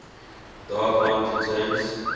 dark knight returns